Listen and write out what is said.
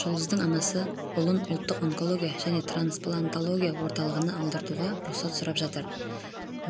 жұлдыздың анасы ұлын ұлттық онкология және трансплантология орталығына алдыруға рұқсат сұрап жатыр